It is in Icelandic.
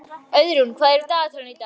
Auðrún, hvað er í dagatalinu í dag?